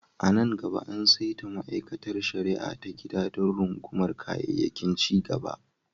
A nan gaba, an saita ma'aikatar shari'a ta gida don rungumar kayayyakin cigaba.